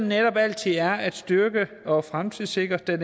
netop altid er at styrke og fremtidssikre den